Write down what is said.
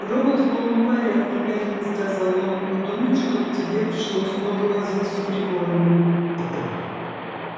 робот в полном порядке медленно сказал он не думаю чтобы тебе пришлось много возиться с приборами